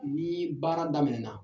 Ni baara daminɛna